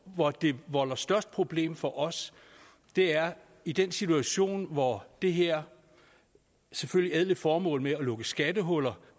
hvor det volder størst problem for os er i den situation hvor det her selvfølgelig ædle formål med at lukke skattehuller